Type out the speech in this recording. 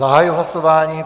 Zahajuji hlasování.